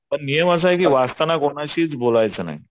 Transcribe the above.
पण नियम असा आहे की वाचताना कोणाशीच बोलायचं नाही.